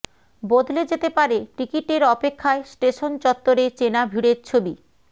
বদলে যেতে পারে টিকিটের অপেক্ষায় স্টেশন চত্বরে চেনা ভিড়ের ছবি